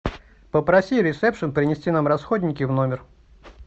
попроси ресепшен принести нам расходники в номер